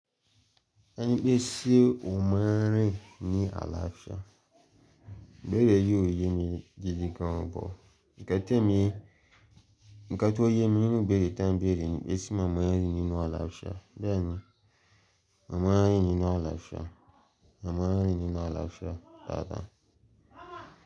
Enipe se o máa ń rìn ni àlàáfíà ibeẹ̀rẹ̀ yí òye mi gidigan bọ̀. Ǹkan ti emi ǹkan tó yemi nínú ìbéèrè ten bere nipe se mo máa ń rìn ni àlàáfíà. Bẹ́ẹ̀ni, màmá ẹ́ rí nínú àlàáfíà. Màmá ẹ́ rín nínú àlàáfíà, dada.